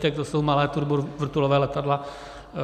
To jsou malá turbovrtulová letadla.